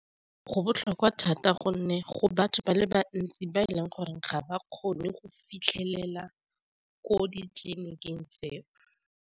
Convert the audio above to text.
Go botlhokwa thata gonne go batho ba le bantsi ba e leng gore ga ba kgone go fitlhelela ko ditleliniking tseo.